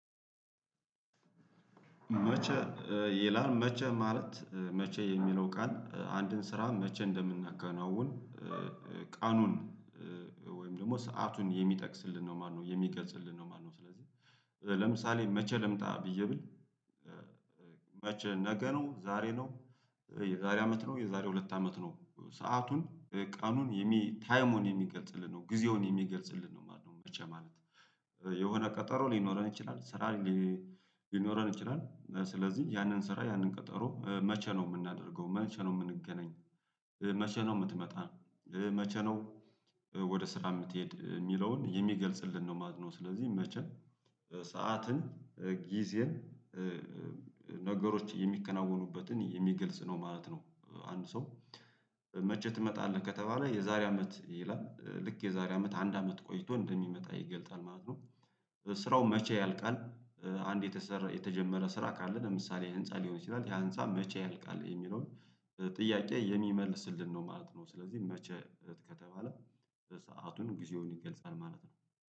መቼ ይላል መቼ ማለት መቼ የሚለው ቃል አንድን ስራ መቼ እንደምናከናውን ቀኑን ወይም ደግሞ ሰአቱን የሚጠቅስልን ነው ማለት ነው የሚገጽልን ነው ማለት ነው። ለምሳሌ መቼ ልምጣ ብዬ ብል። መቼ ነገ ነው ዛሬ ነው። የዛሬ አመት ነው የዛሬ ሁለት አመት ነው ሰአቱን ቀኑን የሚ ታይም መሆን የለበትም ጊዜውን የሚገልጽልን ነው ማለት ነው። መቼ ማለት የሆነ ቀጠሮ ሊኖረን ይችላል ስራ። ሊኖረን ይችላል ስለዚህ ያንን ስራ ያንን ቀጠሮ መቼ ነው የምናደርገው መቼ ነው የምንገናኝ? መቼ ነው የምትመጣ? መቼ ነው? ወደ ስራ የምትሄድ የሚለውን የሚገልጽልን ነው ማለት ነው። ስለዚህ መቼም ሰዓትን ጊዜን ነገሮች የሚከናወኑበትን የሚገልጽ ነው ማለት ነው። አንድ ሰው መቼ ትመጣለህ ከተባለ የዛሬ አመት ይላል ልክ የዛሬ አመት አንድ አመት ቆይቶ እንደሚመጣ ይገልጻል ማለት ነው። ስራው መቼ ያልቃል? አንድ የተሰራ የተጀመረ ስራ ካለ ለምሳሌ ህንፃ ሊሆን ይችላል ያ ህንፃ መቼ ያልቃል የሚለውን ጥያቄ የሚመልስልን ነው ማለት ነው። ስለዚህ መቼ ከተባለ ሰአቱን ጊዜውን ይገልጻል ማለት ነው